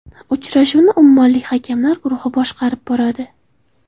Uchrashuvni ummonlik hakamlar guruhi boshqarib boradi.